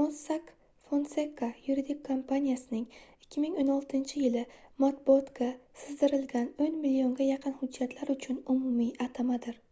mossack fonseca yuridik kompaniyasining 2016-yili matbuotga sizdirilgan oʻn millionga yaqin hujjatlar uchun umumiy atamadir